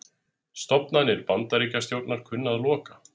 Stofnanir Bandaríkjastjórnar kunna að loka